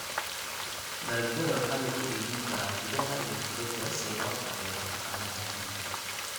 Dalagyada waxaa lagu iibin karaa gudaha iyo dibadda si loo taageero dhaqaalaha adduunka.